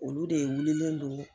Olu de wulilen do.